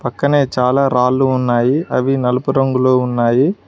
పక్కనే చాలా రాళ్ళు ఉన్నాయి అవి నలుపు రంగులో ఉన్నాయి.